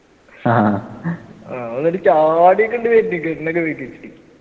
ആഹ്